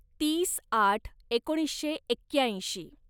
तीस आठ एकोणीसशे एक्क्याऐंशी